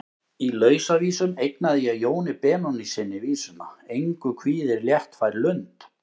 Í Lausavísum eignaði ég Jóni Benónýssyni vísuna: Engu kvíðir léttfær lund.